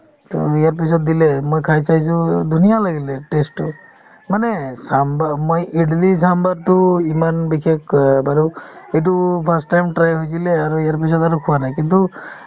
to ইয়াৰ পিছত দিলে মই খাই চাইছো ধুনীয়া লাগিলে taste তো ‌ মানে চাম্ভা মই ইদলি চাম্ভাৰটো ইমান বিশেষ অ বাৰু এইটো first time try হৈছিলে আৰু ইয়াৰ পিছত আৰু খোৱা নাই কিন্তু